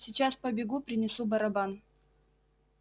сейчас побегу принесу барабан